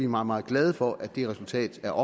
meget meget glade for at det resultat er